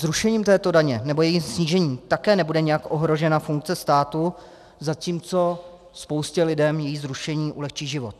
Zrušením této daně nebo jejím snížením také nebude nijak ohrožena funkce státu, zatímco spoustě lidem její zrušení ulehčí život.